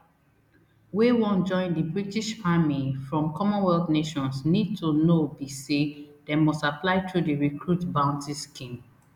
wey wan join di british army from commonwealth nations need to know be say dem must apply through di recruit bounty scheme